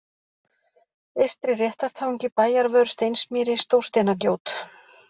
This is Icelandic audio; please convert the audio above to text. Eystri-Réttartangi, Bæjarvör, Steinsmýri, Stórsteinagjót